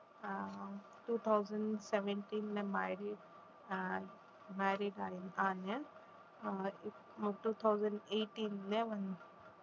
அஹ் two thousand seventeen ல marriage uh married ஆயி ஆனேன் அஹ் two thousand eighteen ல வந்து